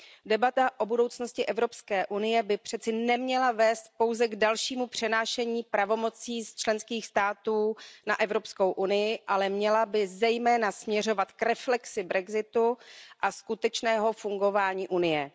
Debata o budoucnosti EU by přeci neměla vést pouze k dalšímu přenášení pravomocí z členských států na EU, ale měla by zejména směřovat k reflexi brexitu a skutečného fungování Unie.